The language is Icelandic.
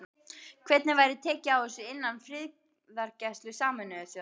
Hvernig væri tekið á þessu innan friðargæslu Sameinuðu þjóðanna?